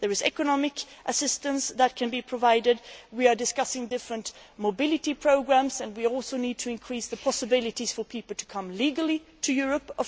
Economic assistance can be provided. We are discussing different mobility programmes and we also need to increase the possibilities for people to come legally to Europe.